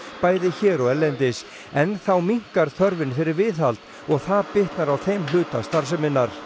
bæði hér og erlendis en þá minnkar þörfin fyrir viðhald og það bitnar á þeim hluta starfseminnar